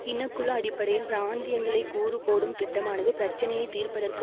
இனக்குழு அடிப்படையில் பிராந்தியங்களை கூறு போடும் திட்டமானது பிரச்சினையை தீர்ப்பதற்கு